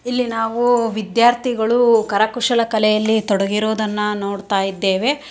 ಇಲ್ಲಿ ನಾವು ವಿದ್ಯಾರ್ಥಿಗಳು ಕರಕುಶಲ ಕಲೆಯಲ್ಲಿ ತೊಡಗಿರೋದನ್ನ ನೋಡ್ತಾ ಇದ್ದೇವೆ.